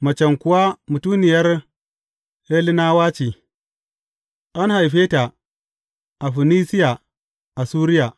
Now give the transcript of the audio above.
Macen kuwa mutuniyar Hellenawa ce, an haife ta a Funisiya a Suriya.